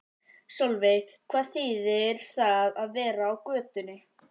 Sólveig: Hvað þýðir það að vera á götunni?